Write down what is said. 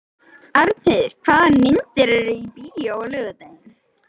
Arnheiður, hvaða myndir eru í bíó á laugardaginn?